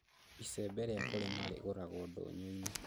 Icembe rĩa kũrĩma rĩgũragwo ndũnyũũinĩ